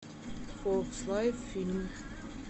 фокс лайф фильм